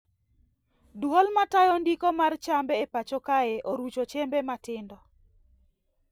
Duol matayo ndiko mar chambe e pacho kae orucho chembe matindo